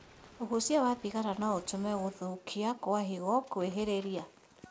ũgucia wa thigara no ũtũme gũthũka kwa higo kwĩhĩrĩrie